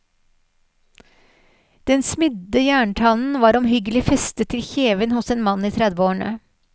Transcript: Den smidde jerntannen var omhyggelig festet til kjeven hos en mann i tredveårene.